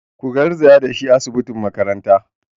Ku garzaya da shi asibitin makaranta!